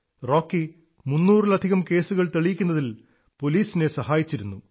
Rocky 300 ലധികം കേസുകൾ തെളിയിക്കുന്നതിൽ പോലീസിനെ സഹായിച്ചിരുന്നു